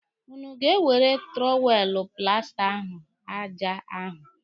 Ụnụ ga-ewere tụrọwelụ plasta ahụ aja ahu.